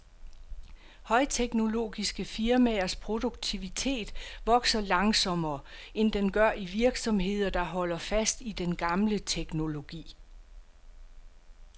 Højteknologiske firmaers produktivitet vokser langsommere, end den gør i virksomheder, der holder fast i den gamle teknologi.